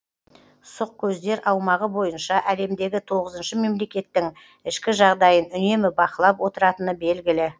сұқ көздер аумағы бойынша әлемдегі тоғызыншы мемлекеттің ішкі жағдайын үнемі бақылап отыратыны белгілі